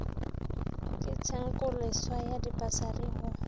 ke tshenkoleswa ya dipasari go